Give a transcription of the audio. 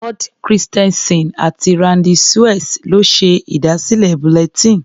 Ward Christensen àti Randy Suess ló ṣe ìdásílẹ̀ bulletin.